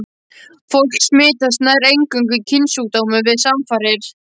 Fólk smitast nær eingöngu af kynsjúkdómum við samfarir.